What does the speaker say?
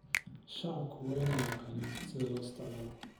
Shacabku waa inay yaqaaniin sida loo isticmaalo.